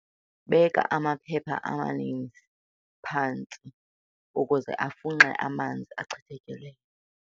Beka amaphepha amaninzi phantsi ukuze afunxe amanzi achithekileyo.